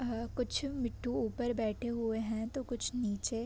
आह कुछ मीठू ऊपर बैठे हुए है तो कुछ नीचे --